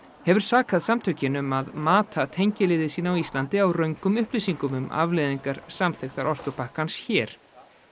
hefur sakað samtökin um að mata tengiliði sína á Íslandi á röngum upplýsingum um afleiðingar samþykktar orkupakkans hér